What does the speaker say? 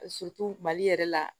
mali yɛrɛ la